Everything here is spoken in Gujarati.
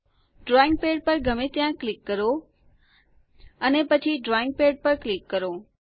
ડ્રોઈંગ પેડ પર ગમે ત્યાં ક્લિક કરો અને પછી ડ્રોઈંગ પેડ પર ક્લિક કરો